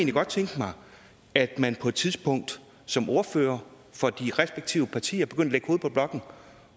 godt tænke mig at man på et tidspunkt som ordfører for de respektive partier begyndte at på blokken